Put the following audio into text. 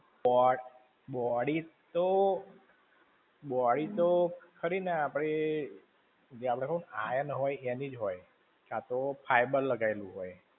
પણ, body તો, body તો, ખરી ને આપણી, જે આપણે iron હોય એની જ હોય. ક્યાં તો fiber લગાઈલું હોય.